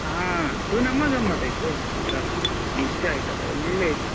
ಹಾ ಅದು ನಮ್ಮ ಗಮ್ಮತಾಯ್ತು ಮಾತ್ರ ನಿಜ ಆಯ್ತಾ ಒಳ್ಳೆ ಇತ್ತು.